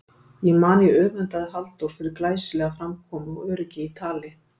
Ég man ég öfundaði Halldór fyrir glæsilega framkomu og öryggi í tali.